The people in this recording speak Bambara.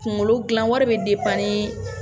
Kunkolo dilan wari bɛ ni